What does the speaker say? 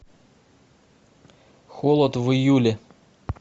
холод в июле